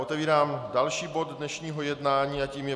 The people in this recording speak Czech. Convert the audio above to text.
Otevírám další bod dnešního jednání a tím je